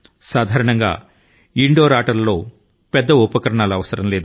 సాధారణం గా మన దేశం లో ఇంటి ఆటల కు పెద్ద హంగామా అవసరం లేదు